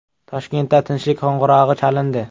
Toshkentda “Tinchlik qo‘ng‘irog‘i” chalindi.